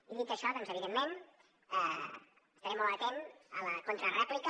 i dit això doncs evidentment estaré molt atent a la contrarèplica